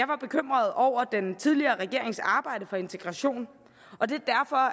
var bekymret over den tidligere regerings arbejde for integration og det